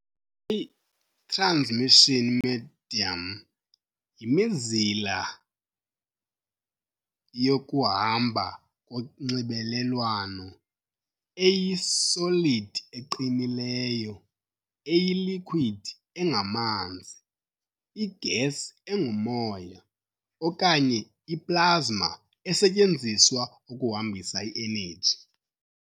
A I-transmission medium yimizila yokuhamba konxibelelwano, eyi-solid eqinileyo, eyi-liquid engamanzi, i-gas engumoya, okanye i-plasma, esetyenziswa ukuhambisa i-energy.